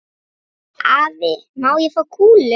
Afi, má ég fá kúlu?